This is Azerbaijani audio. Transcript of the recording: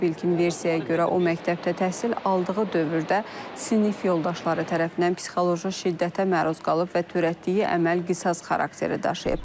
İlkin versiyaya görə o məktəbdə təhsil aldığı dövrdə sinif yoldaşları tərəfindən psixoloji şiddətə məruz qalıb və törətdiyi əməl qisas xarakteri daşıyıb.